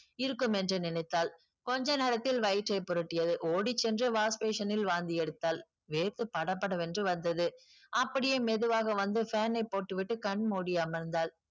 இருக்கும் என்று நினைத்தாள் கொஞ்ச நேரத்தில் வயிற்றை புரட்டியது ஓடிச்சென்று wash basin ல் வாந்தி எடுத்தால் வேர்த்து படபடவென்று வந்தது அப்படியே மெதுவாக வந்து fan ஐ போட்டுவிட்டு கண் மூடி அமர்ந்தாள்